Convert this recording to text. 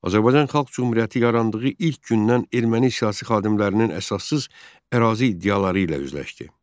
Azərbaycan Xalq Cümhuriyyəti yarandığı ilk gündən erməni siyasi xadimlərinin əsassız ərazi iddiaları ilə üzləşdi.